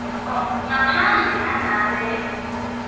ngaphandle nangabe